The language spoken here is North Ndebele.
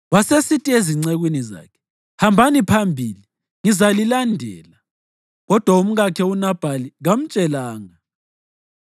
Wasesithi ezincekwini zakhe, “Hambani phambili; ngizalilandela.” Kodwa umkakhe uNabhali kamtshelanga.